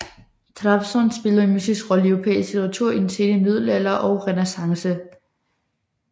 Trabzon spillede en mytisk rolle i europæisk litteratur i den sene middelalder og Renæssance